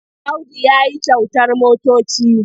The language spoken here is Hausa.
Audu ya yi kyautar motoci.